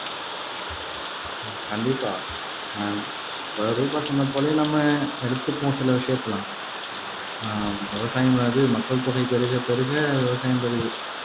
கண்டிப்பா ஆஹ் இப்ப ரூபா சொன்னது போலயே நம்ம எடுத்துப்போம் சில விஷயத்த எல்லாம் ஆஹ் விவசாயம் வருது மக்கள் தொகை பெருகப் பெருக விவசாயம் பெருகு